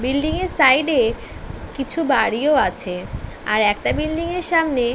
Building এর side -এ কিছু বাড়িও আছে। আর একটা বিল্ডিং এর সামনে--